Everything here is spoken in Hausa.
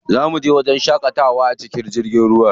Za muje wajen shaƙatawa a cikin jirgin ruwa.